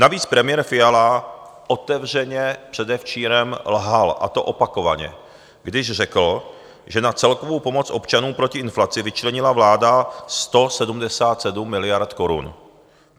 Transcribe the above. Navíc premiér Fiala otevřeně předevčírem lhal, a to opakovaně, když řekl, že na celkovou pomoc občanům proti inflaci vyčlenila vláda 177 miliard korun.